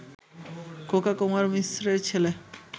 খোকা কুমার মিশ্রের ছেলে